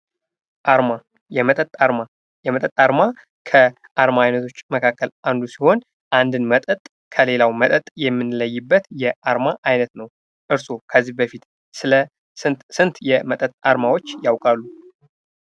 አርማ የመጠጥ አርማ የመጠጥ አርማ ከዓርማ አይነቶች መካከል አንዱ ሲሆን አንዱን መጠጥ ከሌላው መጠጥ የምንለይበት የአርማ አይነት ነው። እርስዎ ከዚህ በፊት ስለ ስንት የመጠጥ አርማዎች ያውቃሉ?